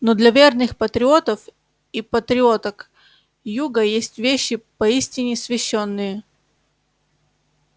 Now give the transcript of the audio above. но для верных патриотов и патриоток юга есть вещи поистине священные